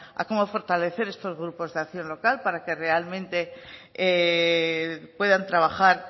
a cómo fortalecer estos grupos de acción local para que realmente puedan trabajar